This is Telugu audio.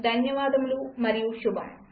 ధన్యవాదములు మరియు శుభం